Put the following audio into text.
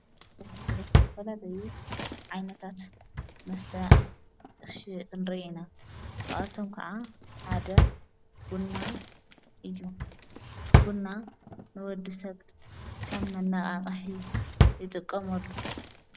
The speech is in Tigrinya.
በፍርት ደስተፈለበዩ ዓይነታት መስተ ሽንሪ ኢና ቃኣቶም ከዓ ሓደ ና ኢዩ ቡና ንወዲ ሰብድ ከም መነቓቓሒ ይጥቀምሉ።